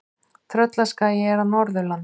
Tröllaskagi er á Norðurlandi.